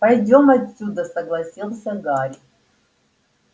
пойдём отсюда согласился гарри